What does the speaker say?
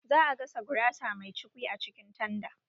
Za a gasa gurasa mai cukwi a cikin tanda